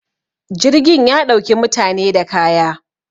jirgin ya ɗauki mutane da kaya